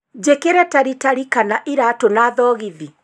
njikire taritari kana iraatu na thogithi